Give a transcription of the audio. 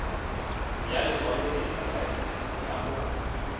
ya lekwalotetla laesense ya go